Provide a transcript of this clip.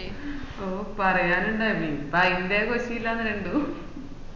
ഓഹ് പറയാനുണ്ടോ ഇനീപ്പോ അയിന്റെ കോശുലാണ് രണ്ടും